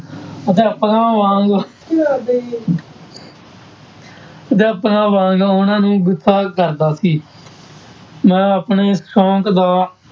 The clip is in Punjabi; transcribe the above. ਅਧਿਆਪਕਾਂ ਵਾਂਗ ਅਧਿਆਪਕਾਂ ਵਾਂਗ ਉਹਨਾਂ ਨੂੰ ਗੁੱਸਾ ਕਰਦਾ ਸੀ ਮੈਂ ਆਪਣੇ ਇਸ ਸ਼ੌਂਕ ਦਾ